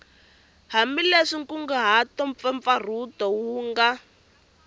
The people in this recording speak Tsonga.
hambileswi nkunguhato mpfapfarhuto wu nga